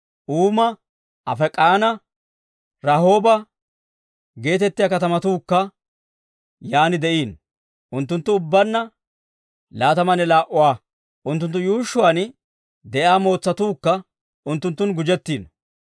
Uuma, Afeek'anne Rahooba geetettiyaa katamatuukka yaan de'iino. Unttunttu ubbaanna laatamanne laa"uwaa; unttunttu yuushshuwaan de'iyaa mootsatuukka unttunttun gujjettiino.